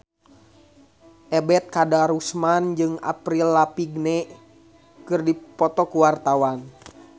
Ebet Kadarusman jeung Avril Lavigne keur dipoto ku wartawan